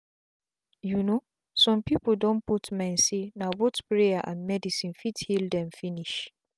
you know some people don put mind say na both prayers and medicine fit heal them finish.